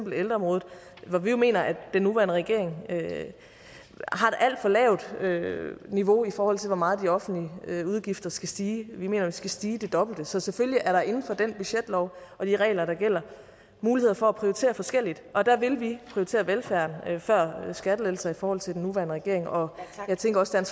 ældreområdet hvor vi jo mener at den nuværende regering har et alt for lavt niveau i forhold til hvor meget de offentlige udgifter skal stige vi mener jo skal stige det dobbelte så selvfølgelig er der inden for den budgetlov og de regler der gælder muligheder for at prioritere forskelligt og der vil vi prioritere velfærden før skattelettelser i forhold til den nuværende regering og jeg tænker også at